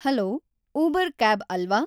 hello Uber cab ಅಲ್ವಾ